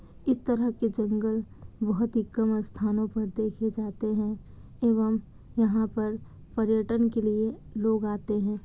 इस तरह की जंगल बहुत ही कम स्थानों पर देखे जाते हैं एवं यहाँ पर पर्यटन के लिए लोग आते हैं।